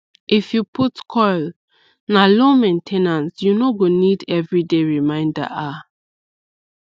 if you put coil na low main ten ance u no go need everyday reminder ah